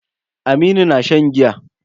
Aminu na shan giya.